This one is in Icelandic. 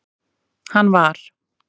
hann var.